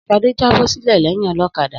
Sadé jábọ́-sílẹ̀ lẹyìn olọ́kadà.